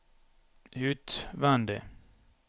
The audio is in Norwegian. utvendig